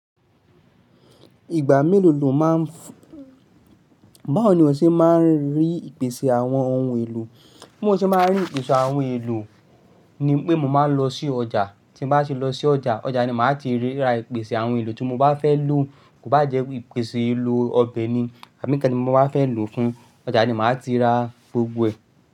Ìgbà mélòó lo máa ń fún, báwo ni o ṣe máa ń rí ìpèsè àwọn ohun èlò? Bí mo ṣe máa ń rí ìpèsè àwọn ohun èlò ni pé mo máa ń lọ sí ọjà, tí mo bá ṣe lọ sí ọjà, ọjà ni màá ti rí ìrá ìpèsè àwọn ohun èlò tí mo bá fẹ́ lò. Ko bá jẹ́ ìpèsè ohun èlò ọbẹ̀ ni, àmì kan tí mo bá fẹ́ lò fún, ọjà ni màá ti ra gbogbo ẹ̀.